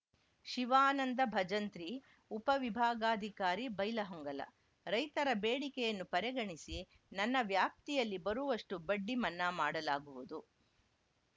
ಶಿವಾನಂದ ಭಜಂತ್ರಿ ಉಪವಿಭಾಗಾಧಿಕಾರಿ ಬೈಲಹೊಂಗಲ ರೈತರ ಬೇಡಿಕೆಯನ್ನು ಪರೆಗಣಿಸಿ ನನ್ನ ವ್ಯಾಪ್ತಿಯಲ್ಲಿ ಬರುವಷ್ಟುಬಡ್ಡಿ ಮನ್ನಾ ಮಾಡಲಾಗುವುದು